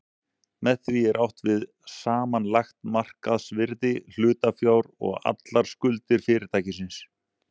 Með því er átt við samanlagt markaðsvirði hlutafjár og allar skuldir fyrirtækisins.